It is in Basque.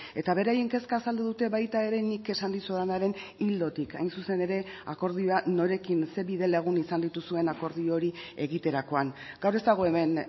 eta beraien kezka azaldu dute baita ere nik esan dizudanaren ildotik hain zuzen ere akordioa norekin zein bide lagun izan dituzuen akordio hori egiterakoan gaur ez dago hemen